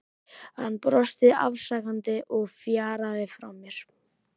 Hann brosti afsakandi og fjaraði frá mér.